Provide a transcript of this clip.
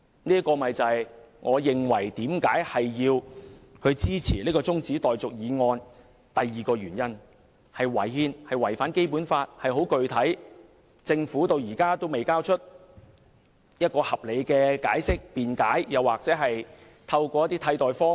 這是我支持這項中止待續議案的第二個原因，即"一地兩檢"違憲、違反《基本法》，政府至今仍未提供合理解釋，或採納替代方案。